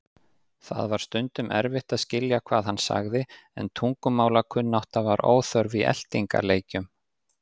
Það var stundum erfitt að skilja hvað hann sagði en tungumálakunnátta var óþörf í eltingarleikjum.